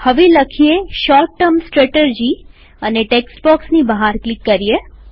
હવે લખીએ short term strategy અને ટેક્સ્ટ બોક્સની બહાર ક્લિક કરીએ